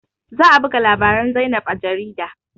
Za a buga labarin zainab a jarida